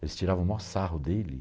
Eles tiravam o maior sarro dele.